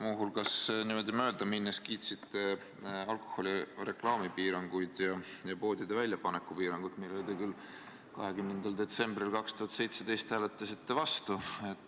Muu hulgas, niimoodi möödaminnes te kiitsite alkoholireklaami piiranguid ja poodide väljapaneku piirangut, millele te küll 20. detsembril 2017 hääletasite vastu.